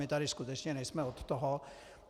My tady skutečně nejsme od toho.